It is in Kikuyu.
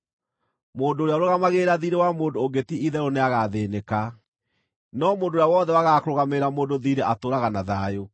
Mũndũ ũrĩa ũrũgamagĩrĩra thiirĩ wa mũndũ ũngĩ ti-itherũ nĩagathĩĩnĩka, no mũndũ ũrĩa wothe wagaga kũrũgamĩrĩra mũndũ thiirĩ atũũraga na thayũ.